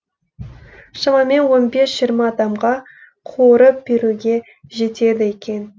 шамамен он бес жиырма адамға қуырып беруге жетеді екен